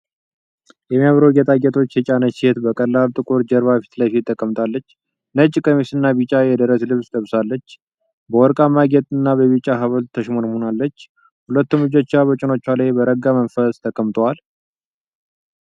የሚያማምሩ ጌጣጌጦች የጫነች ሴት በቀላል ጥቁር ጀርባ ፊት ለፊት ተቀምጣለች። ነጭ ቀሚስና ቢጫ የደረት ልብስ ለብሳለች፤ በወርቃማ ጌጥና በቢጫ ሐብል ተሽሞንሙናለች። ሁለቱም እጆቿ በጭኖቿ ላይ በረጋ መንፈስ ተቀምጠዋል።